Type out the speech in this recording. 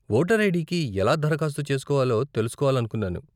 Voter ఐడీకి ఎలా దరఖాస్తు చేసుకోవాలో తెలుసుకోవాలనుకున్నాను.